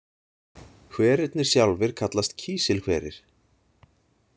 Hverirnir sjálfir kallast kísilhverir.